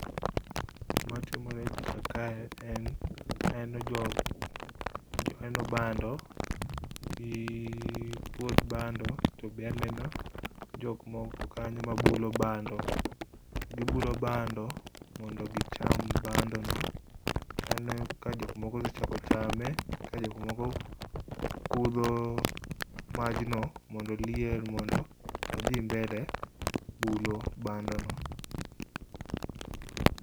Gima timore e pich kae en aneno bando gi puoth bando to be aneno jokmoko kanyo mabulo bando. Gibulo bando mondo gicham bandono. To aneno ka jokmoko osechako chame ka jokmoko kudho majno mondo oliel mondo odhi mbele bulo bandono.